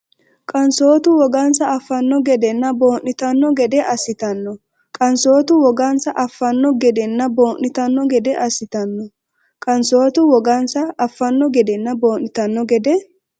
Qansootu wogansa affanno gedenna boo’nitanno gede assitanno Qansootu wogansa affanno gedenna boo’nitanno gede assitanno Qansootu wogansa affanno gedenna boo’nitanno gede.